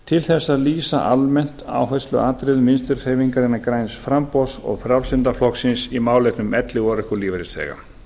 til þess að lýsa almennt áhersluatriðum vinstri hreyfingarinnar græns framboðs og frjálslynda flokksins í málefnum elli og örorkulífeyrisþega